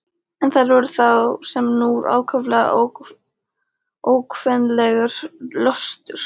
En þær voru þá sem nú ákaflega ókvenlegur löstur.